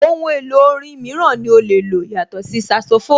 Ohun èlò orin mìíràn ní o lè lò yàtọ̀ sí saxophone?